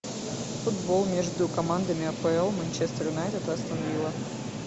футбол между командами апл манчестер юнайтед и астон вилла